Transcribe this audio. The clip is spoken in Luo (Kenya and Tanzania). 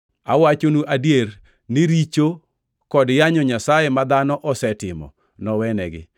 Awachonu adier ni richo kod yanyo Nyasaye ma dhano osetimo nowenegi.